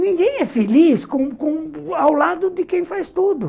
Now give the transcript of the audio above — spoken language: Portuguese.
Ninguém é feliz com com ao lado de quem faz tudo.